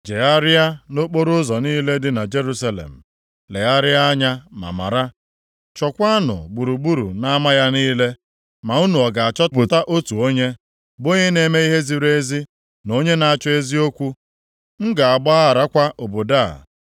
“Jegharịa nʼokporoụzọ niile dị na Jerusalem, legharịa anya, ma mara, chọkwanụ gburugburu nʼama ya niile. Ma unu ọ ga-achọpụta otu onye, bụ onye na-eme ihe ziri ezi, na onye na-achọ eziokwu. M ga-agbagharakwa obodo a